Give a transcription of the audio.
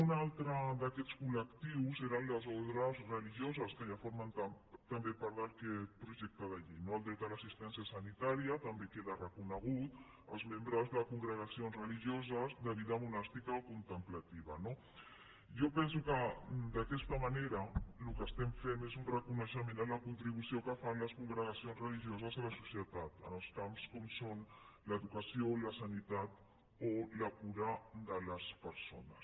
un altre d’aquests col·lectius eren les ordes religioses que ja formen també part d’aquest projecte de llei no el dret a l’assistència sanitària també queda reconegut als membres de congregacions religioses de vida monàstica o contemplativa no jo penso que d’aquesta manera el que estem fent és un reconeixement a les contribucions que fan les congregacions religioses a la societat en els camps com són l’educació la sanitat o la cura de les persones